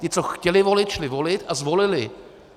Ti, co chtěli volit, šli volit a zvolili.